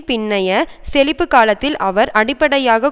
பின்னைய செழிப்பு காலத்தில் அவர் அடிப்படையாக